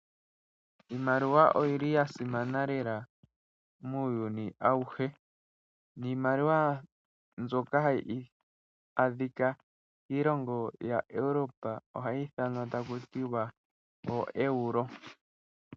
Iimaliwa oyili yasimana lela muyuni awuhe. Niimaliwa mbyoka hayi adhika miilongo yaEurope ohayi ithanwa taku tiwa oeuro.